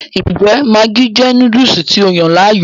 Ǹjẹ́ maggi jẹ́ Núdùùsù tí o yàn láàyò?